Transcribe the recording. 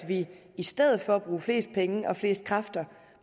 vi i stedet for at bruge flest penge og flest kræfter